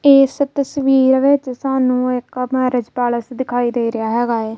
ਏਸ ਤਸਵੀਰ ਵਿੱਚ ਸਾਨੂੰ ਇੱਕ ਮੈਰਿਜ ਪੈਲੇਸ ਦਿਖਾਈ ਦੇ ਰਿਹਾ ਹੈਗਾ ਹੈ।